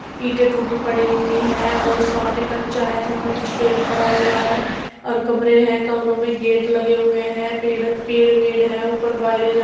ईंटे टूटी पड़ी हुयी है और सामने कच्चा है जहाँ कुछ रेत पड़ा हुआ है और कमरे है कमरों में गेट लगे हुए है पेड़ वेड है ऊपर वायरे --